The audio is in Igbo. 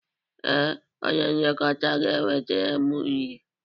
Ee, onye nlekọta ga-ewetara m nri.